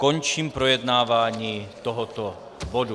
Končím projednávání tohoto bodu.